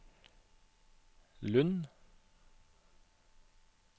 Lund